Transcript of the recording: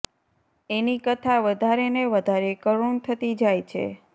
એની કથા વધારે ને વધારે કરુણ થતી જાય છે